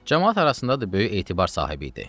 Camaat arasındadır böyük etibar sahibi idi.